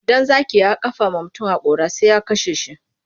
Idan zaki ya kafa wa mutum haƙora sai ya kashe shi.